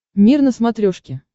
мир на смотрешке